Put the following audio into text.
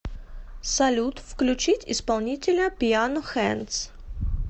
салют включить исполнителя пиано хэндс